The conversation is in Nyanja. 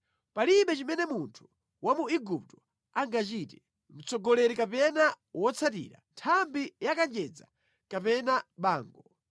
Palibe chimene munthu wa mu Igupto angachite, mtsogoleri kapena wotsatira, nthambi ya kanjedza kapena bango.